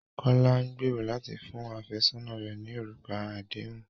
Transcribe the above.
Kọ̀lá n gbèró látì fún afẹsọna rẹ̀ ní orúkà àdéhùn